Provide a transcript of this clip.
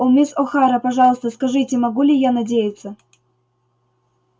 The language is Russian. о мисс охара пожалуйста скажите могу ли я надеяться